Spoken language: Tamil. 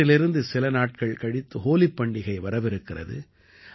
இன்றிலிருந்து சில நாட்கள் கழித்து ஹோலிப் பண்டிகை வரவிருக்கிறது